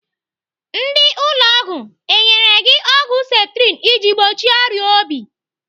Ndị ụlọ ọgwụ enyere gị ọgwụ septrin iji gbochie ọrịa obi?